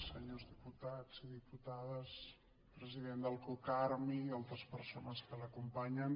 senyors diputats i diputades president del cocarmi i altres persones que l’acompanyen